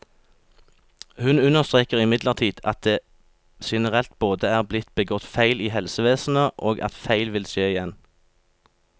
Hun understreker imidlertid at det generelt både er blitt begått feil i helsevesenet, og at feil vil skje igjen.